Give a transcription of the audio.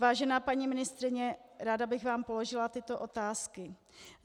Vážená paní ministryně, ráda bych vám položila tyto otázky.